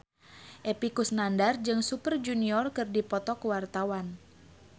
Epy Kusnandar jeung Super Junior keur dipoto ku wartawan